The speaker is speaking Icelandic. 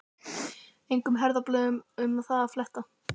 Engum herðablöðum um það að fletta!